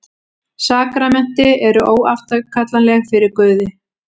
Sakramenti eru óafturkallanleg fyrir Guði.